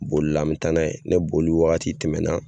Bolila an mɛ taa n'a ye ni boli wagati tɛmɛnna